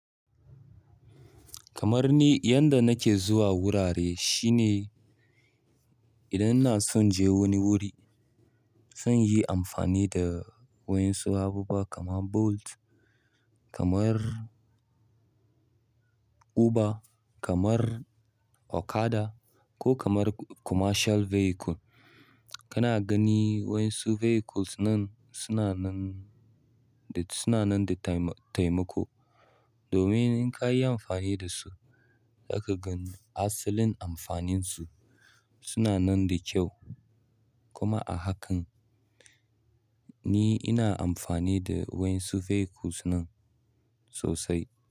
Kamar ni yadda nake zuwa wurare shine idan ina so in je wani wuri, zan yi amfani da waƴan su abubuwa kamar Bolt, kamar Uber, kamar Okada ko kamar commercial vehicle. Kana gani waƴansu vehicles nan suna nan da, suna nan da tai, taimako. Domin in kayo amfani da su, zaka gani ainihin amfanin su. Suna nan da kyau. Kuma a hakan ni ina amfani da waƴansu vehicles nan sosai.